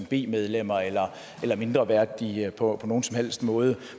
b medlemmer eller mindreværdige på nogen som helst måde